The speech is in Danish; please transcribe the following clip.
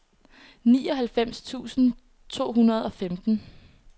nioghalvfems tusind to hundrede og femten